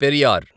Periyar